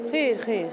Xeyr, xeyr.